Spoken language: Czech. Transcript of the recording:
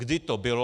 Kdy to bylo?